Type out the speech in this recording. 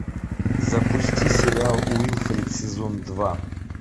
запусти сериал уилфред сезон два